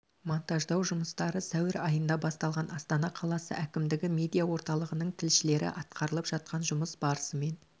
монтаждау жұмыстары сәуір айында басталған астана қаласы әкімдігі медиа орталығының тілшілері атқарылып жатқан жұмыс барысымен